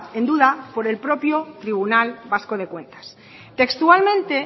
en duda por el propio tribunal vasco de cuentas textualmente